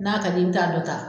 N'a ka di ye i bɛ taa dɔ ta.